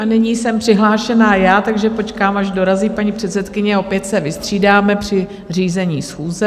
A nyní jsem přihlášená já, takže počkám, až dorazí paní předsedkyně, opět se vystřídáme při řízení schůze.